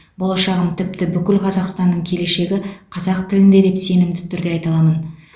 болашағым тіпті бүкіл қазақстанның келешегі қазақ тілінде деп сенімді түрде айта аламын